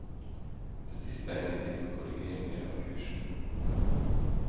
Det siste er nyttig for korrigeringer av kursen.